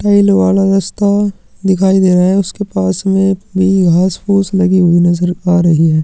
ठोल वाला मस्त अ दिखाई दे रहा है उसके पास में एक घाँस फूस लगी हुई नज़र आ रही है।